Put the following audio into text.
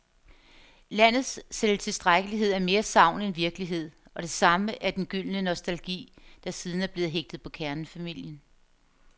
Landets selvtilstrækkelighed er mere sagn end virkelighed, og det samme er den gyldne nostalgi, der siden er blevet hægtet på kernefamilien.